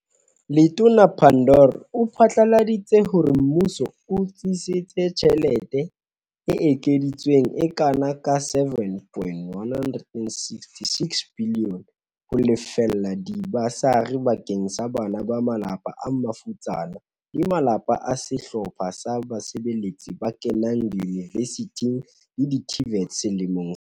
Letona Pandor o phatlaladi tse hore Mmuso o tsetetse tjhe lete e ekeditsweng e kana ka R7.166 biliyone ho lefella diba sari bakeng sa bana ba malapa a mafutsana le malapa a sehlo pha sa basebeletsi ba kenang diyunivesithing le di-TVET selemong sena.